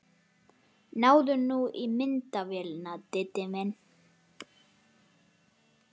Náðu nú í myndavélina, Diddi minn!